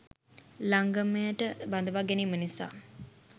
ලංගමයට බඳවා ගැනීම නිසා